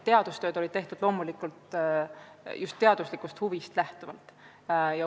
Teadustööd olid tehtud loomulikult just teaduslikust huvist lähtuvalt.